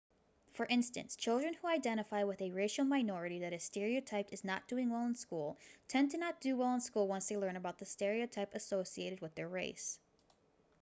for instance children who identify with a racial minority that is stereotyped as not doing well in school tend to not do well in school once they learn about the stereotype associated with their race